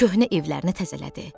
Köhnə evlərini təzələdi.